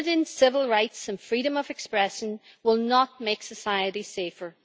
And limiting civil rights and freedom of expression will not make society safer.